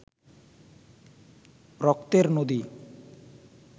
রক্তের নদী